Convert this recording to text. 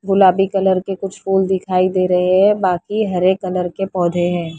गुलाबी कलर के कुछ फूल दिखाई दे रहे हैं बाकी हरे कलर के पौधे हैं।